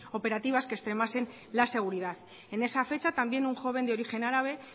operativas que extremasen la seguridad en esa fecha también un joven de origen árabe